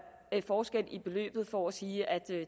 forskel i beløbet for at sige at